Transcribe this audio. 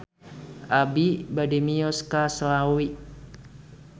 Abi bade mios ka Slawi